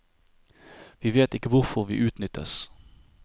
Vi vet ikke hvorfor vi utnyttes.